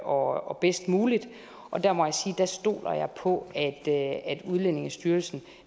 og bedst muligt og der må jeg sige jeg stoler på at udlændingestyrelsen